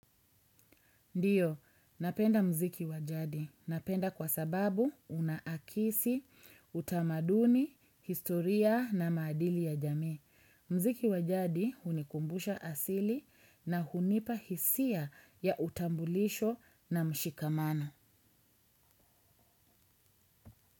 Ndio, napenda muziki wa jadi. Napenda kwa sababu unaakisi, utamaduni, historia na maadili ya jamii. Muziki wa jadi hunikumbusha asili na hunipa hisia ya utambulisho na mshikamano.